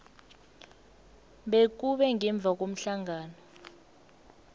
bekube ngemva komhlangano